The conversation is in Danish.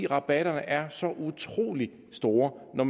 rabatterne er så utrolig store når